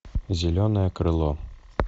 зеленое крыло